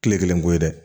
Tile kelen ko ye dɛ